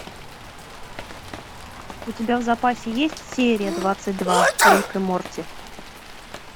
у тебя в запасе есть серия двадцать два рик и морти